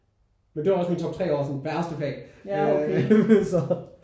Men det var også min top 3 over sådan værste fag øh så